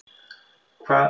Hvað með mitt líf?